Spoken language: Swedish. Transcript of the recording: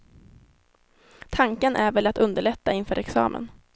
Tanken är väl att underlätta inför examen.